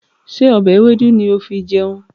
Ṣé ọbẹ̀ ewédú ni ó fi jẹun?